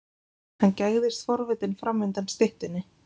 Hann gægðist forvitinn fram undan styttunni.